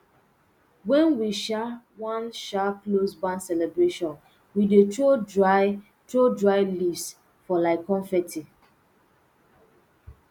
wen we um wan um close barn celebration we dey throw dry throw dry leaves for like confetti